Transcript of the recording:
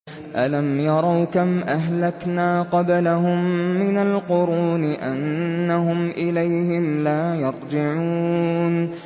أَلَمْ يَرَوْا كَمْ أَهْلَكْنَا قَبْلَهُم مِّنَ الْقُرُونِ أَنَّهُمْ إِلَيْهِمْ لَا يَرْجِعُونَ